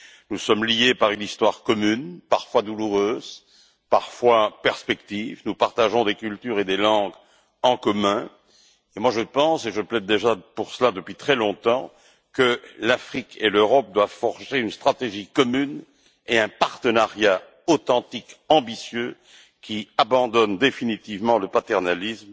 Nous sommes liés par une histoire commune, parfois douloureuse, parfois perspective, nous partageons des cultures et des langues en commun et je pense je plaide déjà pour cela depuis très longtemps que l'Afrique et l'Europe doivent forger une stratégie commune et un partenariat authentique et ambitieux qui abandonnent définitivement le paternalisme